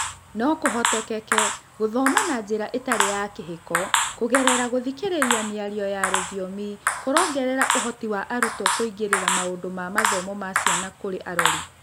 No kũhotekeke gũthoma na njĩra ĩtarĩ ya kĩhiko kũgerera gũthikĩrĩria mĩario ya rũthiomi marongerera ũhoti wa arutwo na kũingĩrĩra maũndũ ma mathomo ma ciana kũrĩ arori.